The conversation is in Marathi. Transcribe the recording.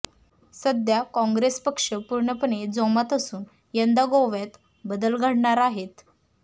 सध्या काँग्रेस पक्ष पूर्णपणे जोमात असून यंदा गोव्यात बदल घडणार आहे